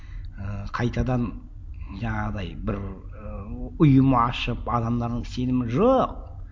ыыы қайтадан жаңағыдай бір ыыы ұйым ашып адамдардың сенімі жоқ